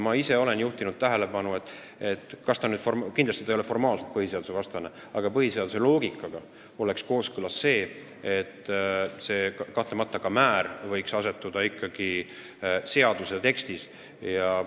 Ma olen juhtinud tähelepanu sellele, et kindlasti see ei ole formaalselt põhiseadusvastane, aga põhiseaduse loogikaga oleks kooskõlas see, et ka määr oleks ikkagi seaduse tekstis kirjas.